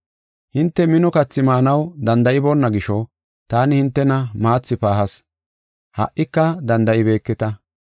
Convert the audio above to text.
Hinte mino kathi maanaw danda7iboona gisho, taani hintena maathi paahas; ha77ika danda7ibeeketa.